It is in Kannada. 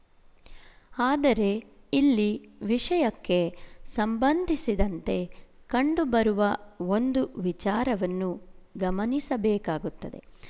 ಆದರೆ ಇಲ್ಲಿ ವಿಶಯಕ್ಕೆ ಸಂಬಂಧಿಸಿದಂತೆ ಕಂಡುಬರುವ ಒಂದು ವಿಚಾರವನ್ನು ಗಮನಿಸಬೇಕಾಗುತ್ತದೆ